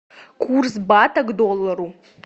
курс бата к доллару